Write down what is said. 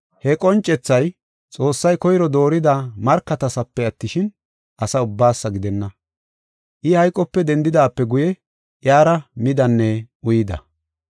He qoncethay Xoossay koyro doorida markatasafe attishin, asa ubbaasa gidenna. I hayqope dendidaape guye iyara midanne uyida.